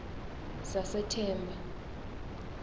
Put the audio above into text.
sasethemba